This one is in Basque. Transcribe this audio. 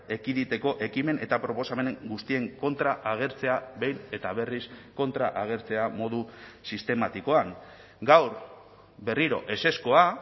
ekiditeko ekimen eta proposamen guztien kontra agertzea behin eta berriz kontra agertzea modu sistematikoan gaur berriro ezezkoa